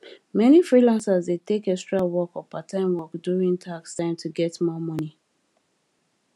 many freelancers dey take extra work or parttime work during tax time to get more money